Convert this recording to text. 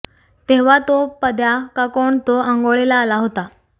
तेव्हा तो पद्या का कोण तो आंघोळीला आला होता